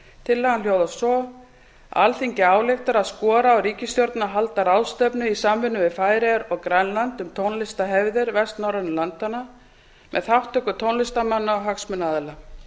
tillagan hljóðar svo alþingi ályktar að skora á ríkisstjórnina að halda ráðstefnu í samvinnu við færeyjar og grænland um tónlistarhefðir vestnorrænu landanna með þátttöku tónlistarmanna og hagsmunaaðila